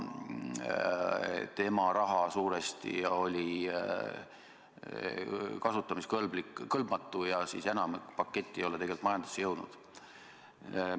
Tema raha oli suuresti kasutamiskõlbmatu ja enamik paketist ei ole tegelikult majandusse jõudnud.